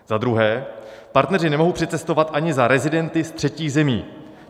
Za druhé, partneři nemohou přicestovat ani za rezidenty z třetích zemí.